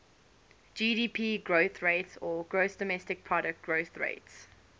gdp growth rates